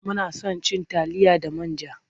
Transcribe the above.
Muna son cin taliya da man ja.